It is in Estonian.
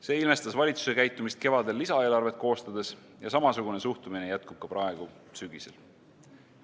See ilmestas valitsuse käitumist kevadel lisaeelarvet koostades ja samasugune suhtumine jätkub ka praegu sügisel.